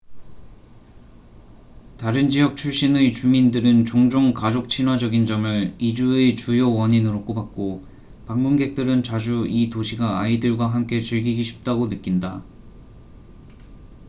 다른 지역 출신의 주민들은 종종 가족 친화적인 점을 이주의 주요 원인으로 꼽았고 방문객들은 자주 이 도시가 아이들과 함께 즐기기 쉽다고 느낀다